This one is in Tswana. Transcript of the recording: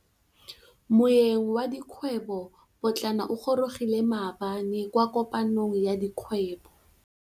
Moêng wa dikgwêbô pôtlana o gorogile maabane kwa kopanong ya dikgwêbô.